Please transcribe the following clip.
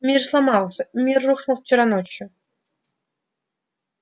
мир сломался мир рухнул вчера ночью